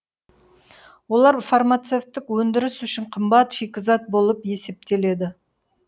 олар фармацевтік өндірісі үшін қымбат шикізат болып есептеледі